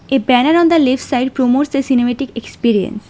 A banner on the left side promote the cinematic experience.